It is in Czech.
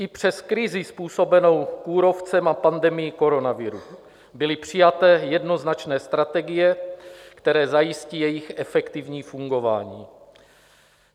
I přes krizi způsobenou kůrovcem a pandemii koronaviru byly přijaté jednoznačné strategie, které zajistí jejich efektivní fungování.